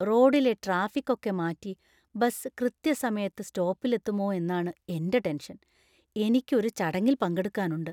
റോഡിലെ ട്രാഫിക് ഒക്കെ മാറ്റി ബസ് കൃത്യസമയത്ത് സ്റ്റോപ്പില്‍ എത്തുമോ എന്നാണ് എന്‍റെ ടെന്‍ഷന്‍. എനിക്ക് ഒരു ചടങ്ങിൽ പങ്കെടുക്കാനുണ്ട്.